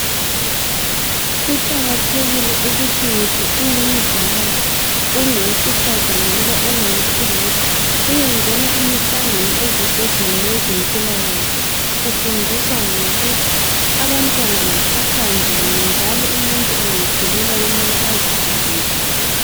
Kuqakathekile ukuthi ngitsho ungumzali ungowesifazana loba ungowesilisa uyengena imihlangano ezibhedlela yezempilakahle, kufundiswa ngokuthi abantwana baphathwa njani, njalo umuntu engakhulelwa kumele aziphathe njani.